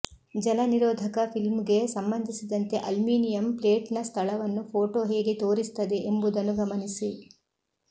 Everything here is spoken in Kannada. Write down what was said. ಜಲನಿರೋಧಕ ಫಿಲ್ಮ್ಗೆ ಸಂಬಂಧಿಸಿದಂತೆ ಅಲ್ಯೂಮಿನಿಯಂ ಪ್ಲೇಟ್ನ ಸ್ಥಳವನ್ನು ಫೋಟೋ ಹೇಗೆ ತೋರಿಸುತ್ತದೆ ಎಂಬುದನ್ನು ಗಮನಿಸಿ